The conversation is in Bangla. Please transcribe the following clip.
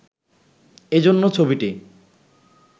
এজন্য ছবিটি